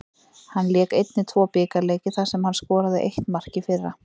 Hann lék einnig tvo bikarleiki þar sem hann skoraði eitt mark í fyrra.